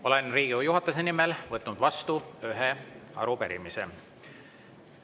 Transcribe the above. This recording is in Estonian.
Olen Riigikogu juhatuse nimel võtnud vastu ühe arupärimise.